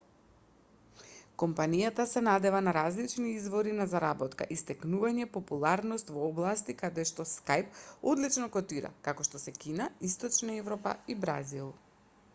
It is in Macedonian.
компанијата се надева на различни извори на заработка и стекнување популарност во области каде што skype одлично котира како што се кина источна европа и бразил